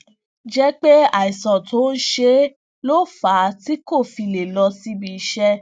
jé pé àìsàn tó ń ṣe é ló fà á tí kò fi lè lọ síbi iṣé